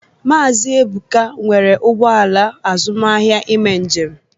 Maazị Ebụka nwere ụgbọ ala azụmaahịa ime njem